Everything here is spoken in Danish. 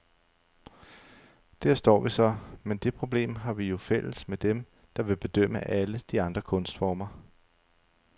Der står vi så, men det problem har vi jo fælles med dem, der vil bedømme alle de andre kunstformer.